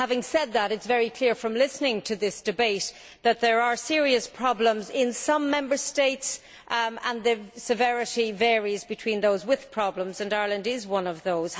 Having said that, it is very clear from listening to this debate that there are serious problems in some Member States, and the severity varies among those with problems and Ireland is one of those.